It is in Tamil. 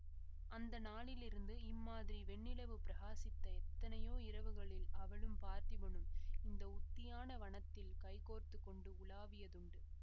அந்த நாளிலிருந்து இம்மாதிரி வெண்ணிலவு பிரகாசித்த எத்தனையோ இரவுகளில் அவளும் பார்த்திபனும் இந்த உத்தியான வனத்தில் கைகோத்துக்கொண்டு உலாவியதுண்டு